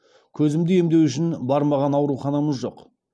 көзімді емдеу үшін бармаған ауруханамыз жоқ